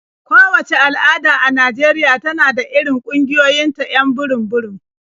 Kowacce al'ada a Najeriya tana da irin ƙungiyoyinta 'yan burum-burum.